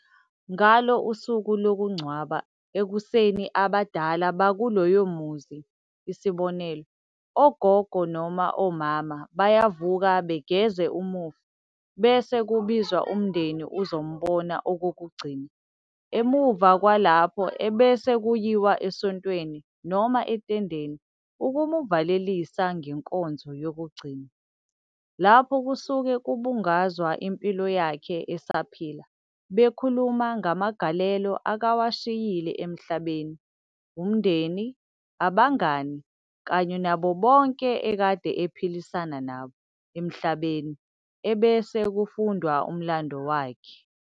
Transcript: Ngalo usuku lokungcwaba ekuseni abadala bakuloyo muzi isib- ogogo noma omama bayavuka begeze umufi ebese kubizwa umndeni uzombona okokugcina emumva kwalapho ebese kuyiwa esontweni noma ethendeni ukumuvalelisa ngenkonzo yokugcina, lapho kusuke kubungazwa impilo yakhe esaphila bekhuluma ngamagalelo akawashiyile emhlabeni, umndeni, ubangani kanye nabo bonke okade ephilisana nabo emhlabeni ebese kufundwa umlando wakhe.